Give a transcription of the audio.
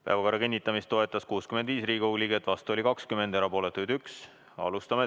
Päevakorra kinnitamist toetas 65 Riigikogu liiget, vastu oli 20 ja erapooletuid 1.